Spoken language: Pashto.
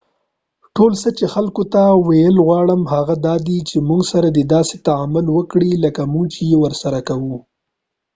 ټول څه چې خلکو ته ویل غواړم هغه دادي چې مونږ سره دې داسې تعامل وکړي لکه مونږ یې چې ورسره کوو